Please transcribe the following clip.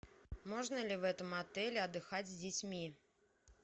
можно ли в этом отеле отдыхать с детьми